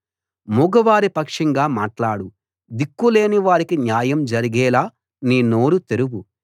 మూగవారి పక్షంగా మాట్లాడు దిక్కులేని వారికి న్యాయం జరిగేలా నీ నోరు తెరువు